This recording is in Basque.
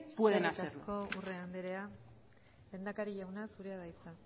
pueden hacerlo eskerrik asko urrea andrea lehendakari jauna zurea da hitza